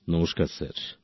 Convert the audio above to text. নমস্কার স্যার